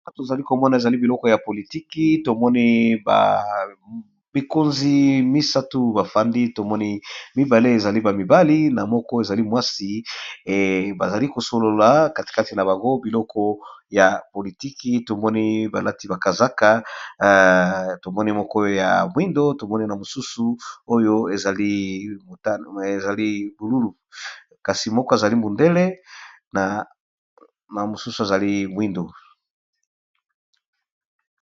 Awa tozali ko mona ezali biloko ya politique, to moni bakonzi misatu ba fandi, to moni mibale ezali ba mibali na moko ezali mwasi . Ba zali ko solola katikati na bango biloko ya politique, to moni balati ba kazaka, tomoni moko ya mwindu, tomoni na mosusu oyo ezali bululu, kasi moko azali mundele na mosusu azali mwindu .